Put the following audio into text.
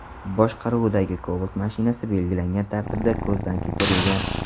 boshqaruvidagi Cobalt mashinasi belgilangan tartibda ko‘zdan kechirilgan.